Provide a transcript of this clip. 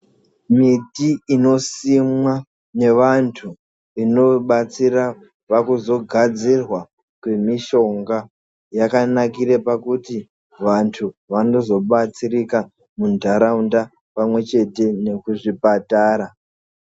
Miti inosimwa nevantu inobatsira pakuzogadzirwa kwemishonga yakanakire pakuti vanhu vanozobatsirika munharaunda pamwechete nekuzvipatara.